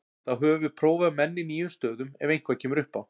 Þá höfum við prófað menn í nýjum stöðum ef eitthvað kemur upp á.